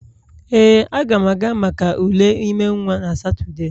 Ee, Aga m aga maka ule ime nwa na Satọde